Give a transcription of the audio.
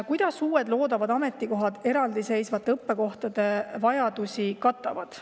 "Kuidas uued loodavad ametikohad eraldiseisvate õppekohtade vajadusi katavad?